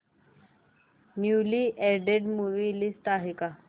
newly added movie list आहे का